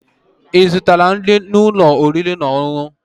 Ị zụtala nri n'ụlọ oriri na ọṅụṅụ?